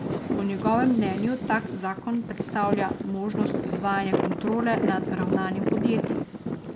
Po njegovem mnenju tak zakon predstavlja možnost izvajanja kontrole nad ravnanjem podjetij.